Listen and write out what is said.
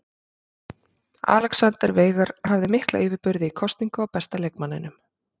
Alexander Veigar hafði mikla yfirburði í kosningu á besta leikmanninum.